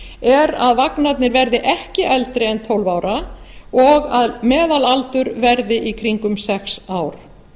er að vagnarnir verði ekki eldri en tólf ára og að meðalaldur verði í kringum sex ár